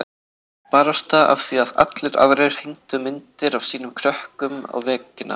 Barasta af því að allir aðrir hengdu myndir af sínum krökkum á veggina.